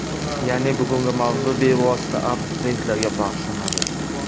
Ya’ni bugungi mavzu bevosita abituriyentlarga bag‘ishlanadi.